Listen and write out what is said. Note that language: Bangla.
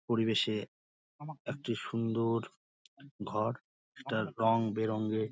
পরিবেশে একটি সুন্দর ঘর একটা রং বেরং এ --